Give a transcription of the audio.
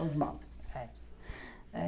Os maus, é.